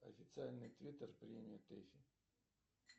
официальный твиттер премии тэфи